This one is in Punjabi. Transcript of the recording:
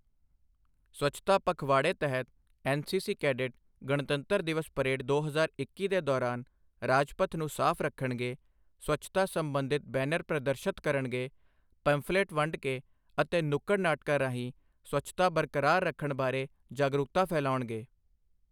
ਸਵੱਛਤਾ ਪਖਵਾੜੇ ਤਹਿਤ ਐਨਸੀਸੀ ਕੈਡਿਟ ਗਣਤੰਤਰ ਦਿਵਸ ਪਰੇਡ ਦੋ ਹਜ਼ਾਰ ਇੱਕੀ ਦੇ ਦੌਰਾਨ ਰਾਜਪਥ ਨੂੰ ਸਾਫ ਰੱਖਣਗੇ, ਸਵੱਛਤਾ ਸੰਬੰਧਿਤ ਬੈਨਰ ਪ੍ਰਦਰਸ਼ਤ ਕਰਣਗੇ, ਪੰਫਲੇਟ ਵੰਡ ਕੇ ਅਤੇ ਨੁੱਕੜ ਨਾਟਕਾਂ ਰਾਹੀਂ ਸਵੱਛਤਾ ਬਰਕਰਾਰ ਰੱਖਣ ਬਾਰੇ ਜਾਗਰੂਕਤਾ ਫੈਲਾਉਣਗੇ।